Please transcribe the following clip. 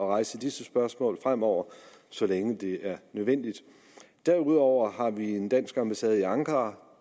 rejse disse spørgsmål fremover så længe det er nødvendigt derudover har vi en dansk ambassade i ankara